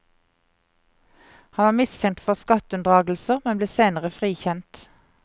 Han var mistenkt for skatteunndragelser, men ble senere frikjent.